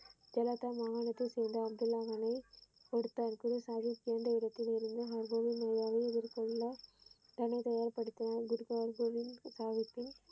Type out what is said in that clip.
சேலத்து மாகாணத்தை சேர்ந்த அப்துல்லா மகனை கொடுத்தார் குருசாகி பிறந்த இடத்திலிருந்த